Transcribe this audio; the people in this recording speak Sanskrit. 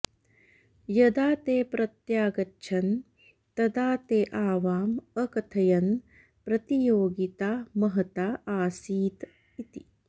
यदा ते प्रत्यागच्छन् तदा ते आवाम् अकथयन् प्रतियोगिता महता आसीत् इति